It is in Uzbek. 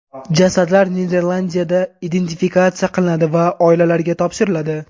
Jasadlar Niderlandiyada identifikatsiya qilinadi va oilalariga topshiriladi.